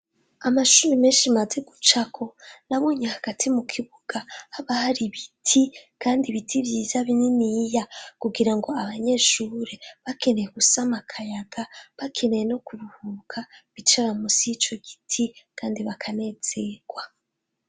Amashure menshi maze gucako nabonye hagati mukibuga haba har'ibiti kandi ibiti vyiza bininiya kugirango abanyeshure bakeneye gusama akayaga bakeneye no kuruhuka bicara musi y'icogiti kandi bakanezerwa.